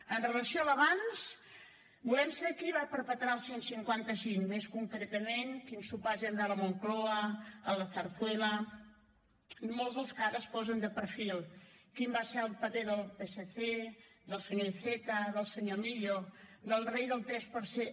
amb relació a l’abans volem saber qui va perpetrar el cent i cinquanta cinc més concretament quins sopars hi van haver a la moncloa a la zarzuela amb molts dels que ara es posen de perfil quin va ser el paper del psc del senyor iceta del senyor millo del rei del tres per cent